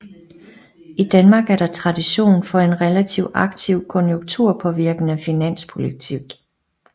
I Danmark er der tradition for en relativt aktiv konjunkturpåvirkende finanspolitik